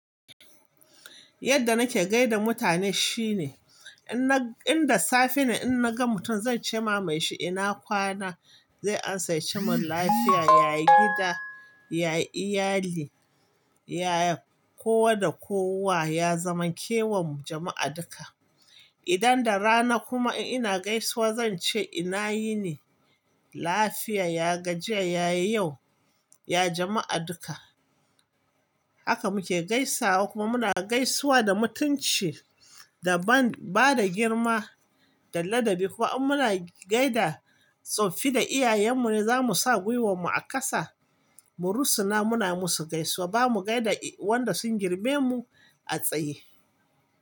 Yadda nake gaida mutane shine, idan da safe ne in na ga mutum zan ce ma mai shi ina kwana zai amsa ya ce mun lafiya, ya gida, ya iyali, ya kowa da kowa, ya zamant la kewan jama'a duka. Idan da rana kuma ina gaisuwa zan ce ina yini? Lafiya, ya gajiya, ya ya yau, ya jama'a duka. Haka muke gaisawa kuma muna gaisuwa da mutunci da ba da girma da ladabi. Kuma in muna gaida tsoffi da iyayenmu ne zamu sa gwiwarmu a kasa mu rusuna muna musu gaisuwa. Ba mu gaida wanda sun girme mu a tsaye.